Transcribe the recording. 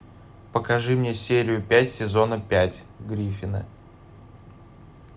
покажи мне серию пять сезона пять гриффины